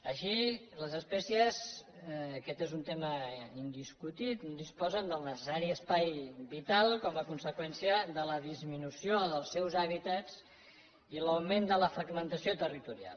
així les espècies aquest és un tema indiscutible disposen del necessari espai vital com a conseqüència de la disminució dels seus hàbitats i l’augment de la fragmentació territorial